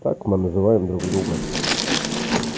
так мы называем друг друга